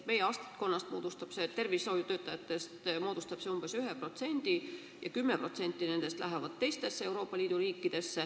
Meie tervishoiutöötajatest moodustab see umbes 1% ja 10% nendest läheb teistesse Euroopa Liidu riikidesse.